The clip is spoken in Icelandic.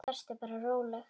Vertu bara róleg.